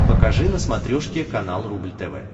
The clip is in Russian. покажи на смотрешке канал рубль тв